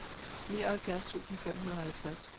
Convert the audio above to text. nioghalvfjerds tusind fem hundrede og halvtreds